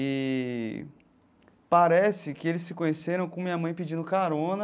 E parece que eles se conheceram com minha mãe pedindo carona.